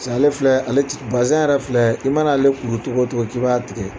Piseke ale filɛ ale ɛ bazin yɛrɛ filɛ i mana ale kuru cogo o cogo k' i b'a tigɛ